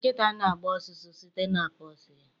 Nkịta na-agba ọsụsọ site na paws ha